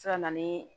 Se ka na ni